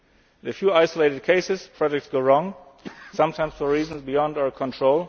In a few isolated cases, projects go wrong sometimes for reasons beyond our